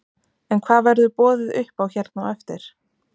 En hvað verður boðið upp á hérna á eftir?